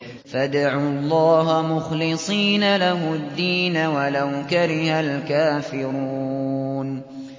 فَادْعُوا اللَّهَ مُخْلِصِينَ لَهُ الدِّينَ وَلَوْ كَرِهَ الْكَافِرُونَ